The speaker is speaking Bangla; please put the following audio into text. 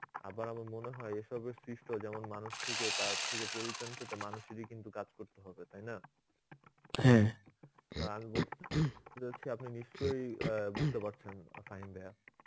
আবার আমার মনে হয় এসবের সৃষ্ট যেমন মানুষ থেকে তার থেকে মানুষেরই কিন্তু কাজ করতে হবে তাই না? আমি বলতে যাচ্ছি আপনি নিশ্চয় অ্যাঁ বুঝতে পারছেন